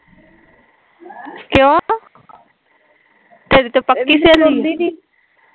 ਕਿਓ ਤੇਰੀ ਤਾਂ ਪੱਕੀ ਸਹੇਲੀ ਸੀ